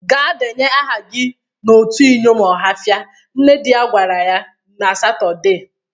'Gaa deenye aha gi n'otu iyom Ọhafịa', nne dị ya gwara ya na Satọde.